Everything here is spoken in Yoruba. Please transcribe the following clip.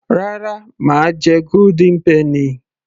rárá mà á jẹ golden penny